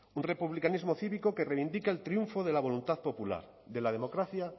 un republicanismo cívico que reivindica el triunfo de la voluntad popular de la democracia